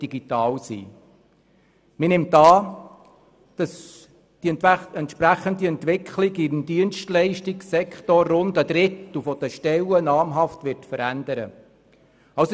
Man nimmt an, dass die entsprechende Entwicklung im Dienstleistungssektor rund einen Drittel der Stellen namhaft verändern wird.